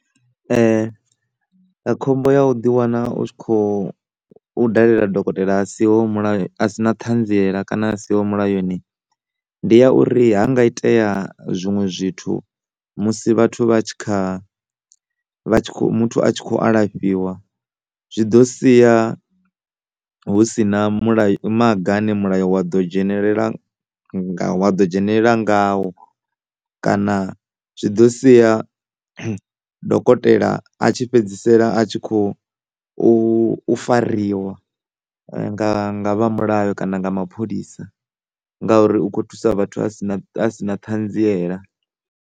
Khombo ya u ḓi wana u tshi kho dalela dokotela a si ho molayo, a si na ṱhanziela kana a siho ho mulayoni ndi ya uri ha nga itea zwiṅwe zwithu musi vhathu vha tshi kha vha tshi kha, muthu a tshi kho alafhiwa zwi ḓo sia hu si na mulayo, maga ane mulayo wa ḓo dzhenelela wa ḓo dzhenelela ngawo kana zwi ḓo sia dokotela a tshi fhedzisela a tshi khou u, u fariwa nga, nga vha mulayo kana nga mapholisa ngauri u kho thusa vhathu a si na, a si na ṱhanziela.